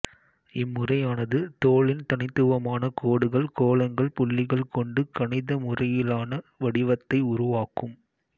இம்முறையானது தோலின் தனித்துவமான கோடுகள்கோலங்கள்புள்ளிகள் கொண்டு கணித முறையிலான வடிவத்தை உருவாக்கும்